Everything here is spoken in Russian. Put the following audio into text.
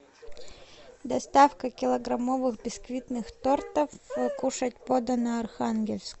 доставка килограммовых биксвитных тортов кушать подано архангельск